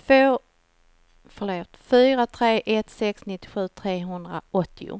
fyra tre ett sex nittiosju trehundraåttio